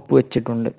ഒപ്പുവച്ചിട്ടുണ്ട്.